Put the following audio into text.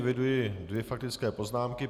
Eviduji dvě faktické poznámky.